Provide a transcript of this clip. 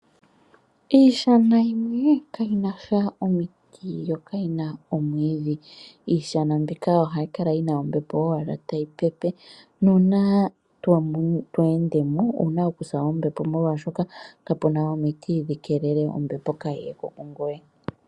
Iishana yimwe kayina sha omiti yo kayina omwiidhi. Iishana mbika ohayi kala yina ombepo owala tayi pepe, nuuna to endemo owuna oku sa ombepo molwaashoka kapuna omiti dhi keelele ombepo kayi yeko kungoye.